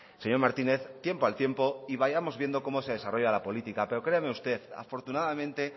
señor martínez tiempo al tiempo y vayamos viendo cómo se desarrolla la política pero créame usted afortunadamente